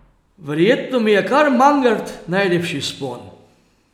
Verjetno mi je kar Mangart najlepši vzpon.